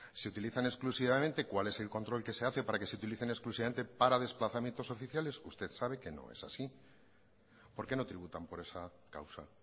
se utilizan exclusivamente cual es el control que se hace para que se utilicen exclusivamente para desplazamientos oficiales usted sabe que no es así por qué no tributan por esa causa